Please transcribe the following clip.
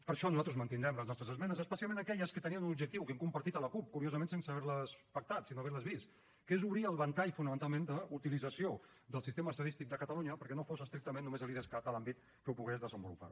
per això nosaltres mantindrem les nostres esmenes especialment aquelles que tenien un objectiu que hem compartit amb la cup curiosament sense haver les pactat sense haver les vist que és obrir el ventall fonamentalment d’utilització del sistema estadístic de catalunya perquè no fos estrictament només l’idescat l’àmbit que ho pogués desenvolupar